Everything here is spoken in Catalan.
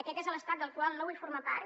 aquest és l’estat del qual no vull formar part